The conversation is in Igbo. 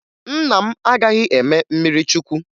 Nna m agaghị eme mmirichukwu